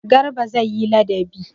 Garba zai yi ladabi.